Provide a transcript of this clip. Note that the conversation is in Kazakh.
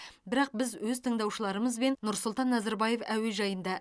бірақ біз өз тыңдаушыларыңызбен нұр султан назарбаев әуежайында